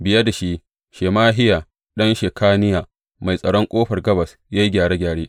Biye da shi, Shemahiya ɗan Shekaniya, mai tsaron Ƙofar Gabas ya yi gyare gyare.